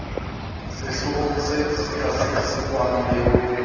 sehlooho se sekasekwa le ho